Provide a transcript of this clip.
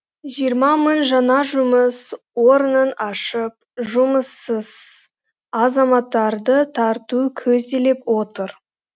жиырма мың жаңа жұмыс орнын ашып жұмыссыз азаматтарды тарту көзделіп отыр